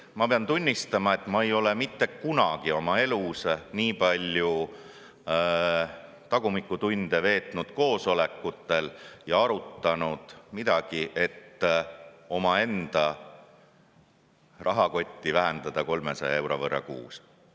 Ma pean tunnistama, et ma ei ole mitte kunagi oma elus nii palju tagumikutunde veetnud koosolekutel ja midagi arutanud, et omaenda rahakotti vähendada 300 euro võrra kuus.